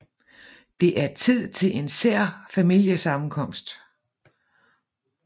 Det er tid til en sær familiesammenkomst